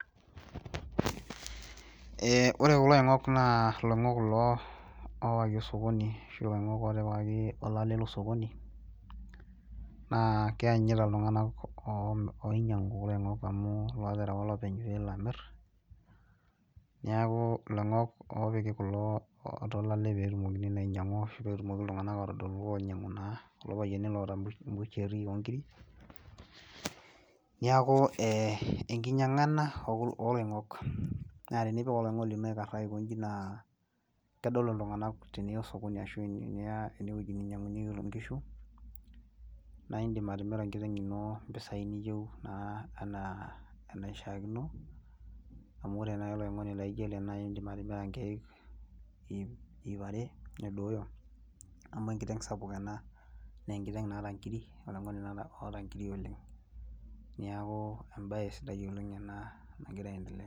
Eeh wore kulo oingok naa iloingok kulo oowaki osokoni , ashu iloingok ootipikaki olale loo sokoni , naa keyanyita iltunganak oinyangu amu looterewa olopenye pee elo amir, niaku iloingok oopiki atua olole peetumoki naa ainyangu arashu peetumoki iltunganak aatodol naa kulo payiani oota busheri ooongiri. Niaku eeh, enkinyanga ena oloingok , naa tenipik oloingoni lino aikaraa aikonji naa kedol iltunganak teniyia osokoni ashu teniyia eneweji oshi ninyangunyeki inkishu , naa idim atimira enkiteng ino mpisai niyeu naa enaa enaishakino amu wore naaji oloingoni laijo ele naa idim atimira inkeek iip are nedooyo amu enkiteng sapuk ena , naa enkiteng naata inkiri , oloingoni oota inkiri oleng. Niaku ebaye sidai oleng enaa nagira aendelea.